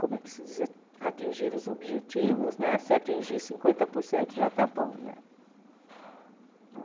como é que se diz, a atingir os objetivos né, se atingir cinquenta por cento já está bom.